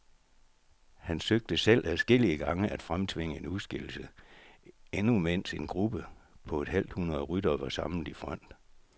Han søgte selv adskillige gange at fremtvinge en udskillelse, endnu mens en gruppe på et halvt hundrede ryttere var samlet i front.